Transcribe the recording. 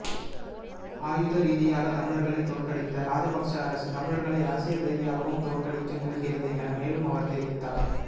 ஆயுத ரீதியாக தமிழர்களை தோற்கடித்த ராஜபக்சஅரசு தமிழர்களை அரசியல் ரீதியாகவும் தோற்கடிக்க முயல்கிறது என மேலும் அவர் தெரிவித்தார்